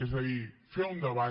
és a dir fer un debat